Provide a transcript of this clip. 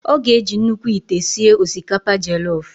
Ọ ga-eji nnukwu ite sie osikapa jelof.